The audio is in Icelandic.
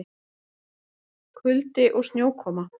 Kuldi og snjókoma